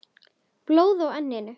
Blóð á enninu.